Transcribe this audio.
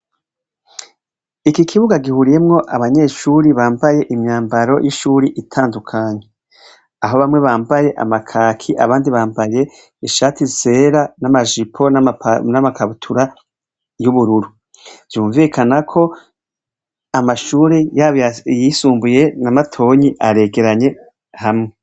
Iki kibuga gihuriyemwo abanyeshure bambaye imyambaro y'ishuri itandukanye, aho bamwe bambaye amakaki abandi bambaye ishati zera n'amajipo namakabutura y'ubururu, vyunvikana ko amashure yabo ayisumbuye na matoya aregeranye hamwe.